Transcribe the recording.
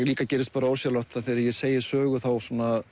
líka gerist ósjálfrátt að þegar ég segi sögu þá